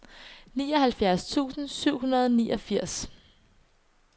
syvoghalvfjerds tusind syv hundrede og niogfirs